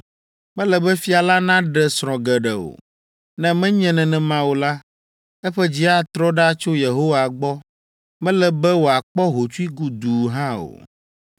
Mele be fia la naɖe srɔ̃ geɖe o; ne menye nenema o la, eƒe dzi atrɔ ɖa tso Yehowa gbɔ. Mele be wòakpɔ hotsui guduu hã o.